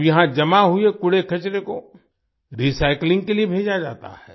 अब यहां जमा हुए कूड़ेकचरे को रिसाइक्लिंग के लिए भेजा जाता है